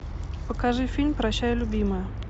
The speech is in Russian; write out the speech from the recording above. покажи фильм прощай любимая